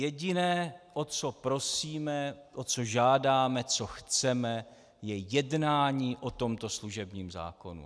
Jediné o co prosíme, o co žádáme, co chceme, je jednání o tomto služebním zákonu.